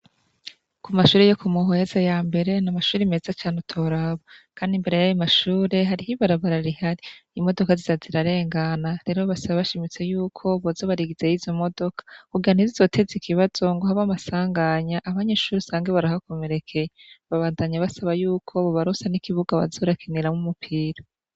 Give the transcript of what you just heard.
Ku mashure yo ku Muhweza ya mbere ni amashure meza cane utoraba. Kandi imbere y'ayo mashure hari ibarabara rihari. Imodoka zija zirarengana; rero basaba bashimitse yuko boza barigizayo izo modoka kugira ntizizoteze ikibazo ngo habe amasanganya abanyeshure usange barahakomerekeye. Babandanya basaba yuko bobaronsa n'ikibuga boza barakiniramwo umupira.